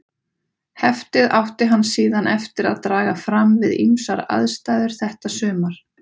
Heftið átti hann síðan eftir að draga fram við ýmsar aðstæður þetta sumar.